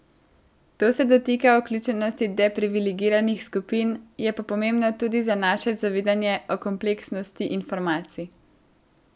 To se dotika vključenosti deprivilegiranih skupin, je pa pomembno tudi za naše zavedanje o kompleksnosti informacij.